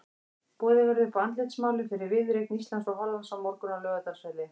Boðið verður upp á andlitsmálun fyrir viðureign Íslands og Hollands á morgun á Laugardalsvelli.